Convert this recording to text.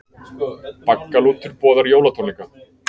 Baggalútur boðar jólatónleika